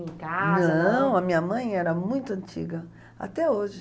em casa. Não, a minha mãe era muito antiga, até hoje.